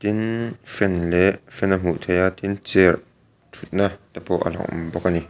tin fan leh fan a hmuh theih a tin chair thut na te pawh alo awm bawk ani.